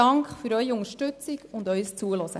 Dank für Ihre Unterstützung und Ihr Zuhören.